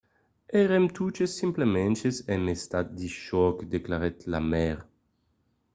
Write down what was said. "èrem totes simpletament en estat de chòc, declarèt la maire